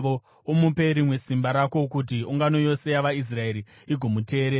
Umupe rimwe simba rako kuti ungano yose yavaIsraeri igomuteerera.